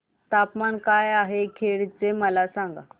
तापमान काय आहे खेड चे मला सांगा